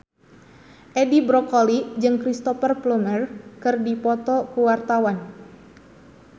Edi Brokoli jeung Cristhoper Plumer keur dipoto ku wartawan